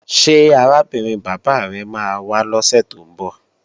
Ṣé arábìnrin bàbá rẹ máa wá lọ́sè tó ń bọ̀?